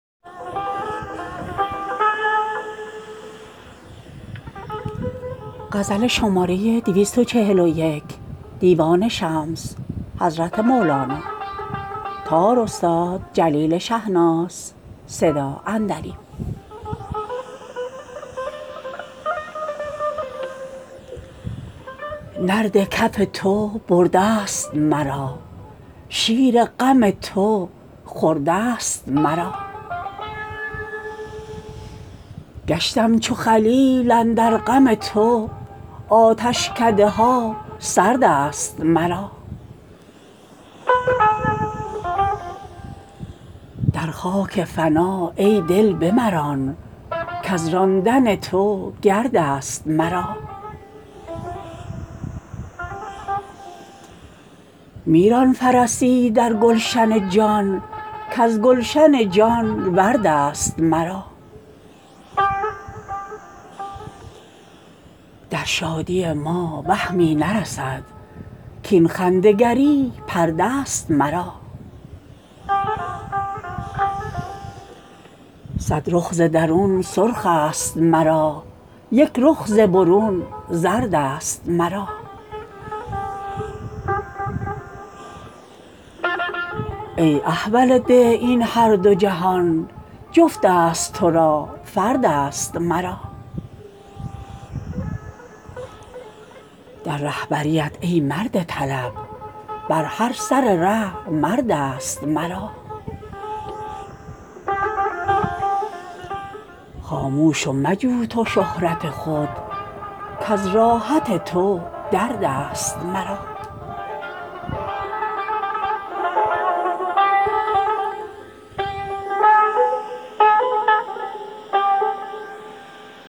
نرد کف تو بردست مرا شیر غم تو خوردست مرا گشتم چو خلیل اندر غم تو آتشکده ها سردست مرا در خاک فنا ای دل بمران کز راندن تو گردست مرا می ران فرسی در گلشن جان کز گلشن جان وردست مرا در شادی ما وهمی نرسد کاین خنده گری پرده ست مرا صد رخ ز درون سرخ ست مرا یک رخ ز برون زردست مرا ای احول ده این هر دو جهان جفت است تو را فرد است مرا در رهبریت ای مرد طلب بر هر سر ره مردست مرا خاموش و مجو تو شهرت خود کز راحت تو دردست مرا